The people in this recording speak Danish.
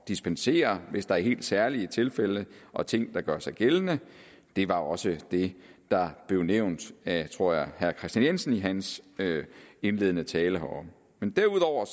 dispensere hvis der er helt særlige tilfælde og ting der gør sig gældende det var også det der blev nævnt af tror jeg herre kristian jensen i hans indledende tale herom men derudover